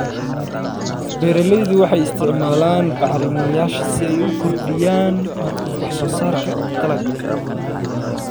Beeraleydu waxay isticmaalaan bacrimiyeyaasha si ay u kordhiyaan wax soo saarka dalagga.